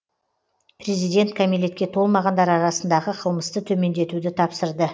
президент кәмелетке толмағандар арасындағы қылмысты төмендетуді тапсырды